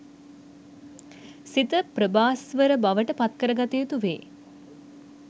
සිත ප්‍රභාස්වර බවට පත්කර ගත යුතු වේ.